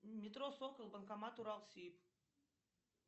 метро сокол банкомат уралсиб